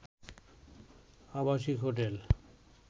আবাসিক হোটেল